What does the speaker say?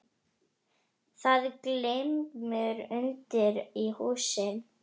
Það glymur undir í húsinu.